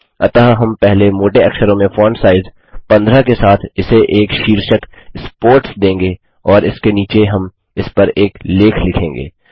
अतः हम पहले मोटे अक्षरों में फॉन्ट साइज़ 15 के साथ इसे एक शीर्षक स्पोर्ट्स देंगे और इसके नीचे हम इसपर एक लेख लिखेंगे